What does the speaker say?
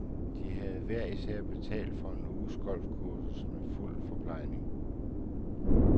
De havde hver især betalt for en uges golfkursus med fuld forplejning.